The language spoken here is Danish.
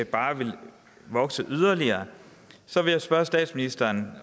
bare ville vokse yderligere så vil jeg spørge statsministeren